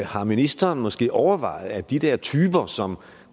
har ministeren måske overvejet at de der typer som